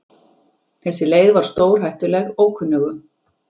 Þessi leið var stórhættuleg ókunnugum.